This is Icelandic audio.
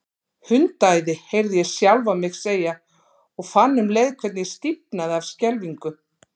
Hundaæði, heyrði ég sjálfan mig segja, og fann um leið hvernig ég stífnaði af skelfingu.